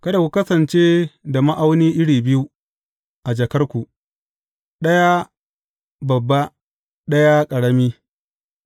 Kada ku kasance da ma’auni iri biyu a jakarku, ɗaya babba, ɗaya ƙarami.